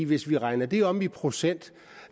hvis man regner det om i procent